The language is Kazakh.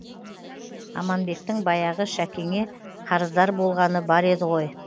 аманбектің баяғы шәкеңе қарыздар болғаны бар еді ғой